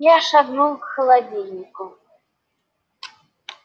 я шагнул к холодильнику